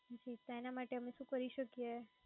જી તો એના માટે અમે શુ કરી શકીયે?